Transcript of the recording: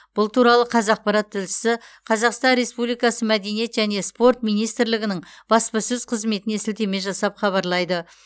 бұл туралы қазақпарат тілшісі қазақстан республикасы мәдениет және спорт министрлгінің баспасөз қызметіне сілтеме жасап хабарлайды